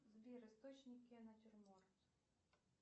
сбер источники натюрморт